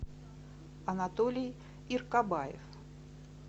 анатолий иркабаев